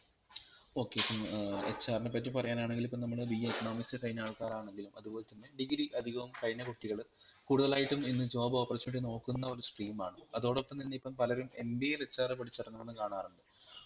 okay ഇപ്പം ഏർ HR നെ പറ്റി പറയാനാണെകിലിപ്പം നമ്മൾ BAECONOMICS കഴിഞ്ഞ ആൾകാരാണെങ്കിൽ അതുപോലെ തന്നെ degree അധികവും കഴിഞ്ഞ കുട്ടികൾ കൂടുതലായിട്ടും ഇന്ന് job opportunity നോക്കുന്ന ഒരു stream ആണ് അതോടപ്പം തന്നെ ഇപ്പൊ പലരും MBAinHR പഠിച്ചു ഏറെങ്ങുന്നത്‌ കാണാറ്ണ്ട്